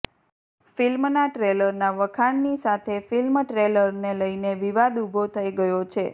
ફિલ્મના ટ્રેલરના વખાણની સાથે ફિલ્મ ટ્રેલરને લઈને વિવાદ ઉભો થઈ ગયો છે